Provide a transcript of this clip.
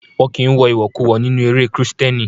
Won kí ń wọ ìwọ̀kuwọ̀ nínú eré Kristẹni.